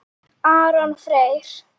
Aron Freyr.